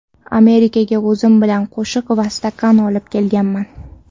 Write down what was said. Amerikaga o‘zim bilan qoshiq va stakan olib kelganman.